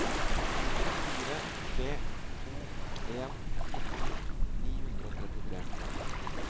fire tre to en nitten ni hundre og trettitre